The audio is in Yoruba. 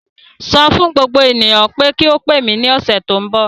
Sọ fún gbogbo ènìyàn pé kí ó pè mí ní ọ̀sẹ̀ tó ń bọ̀.